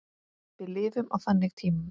Við lifum á þannig tímum.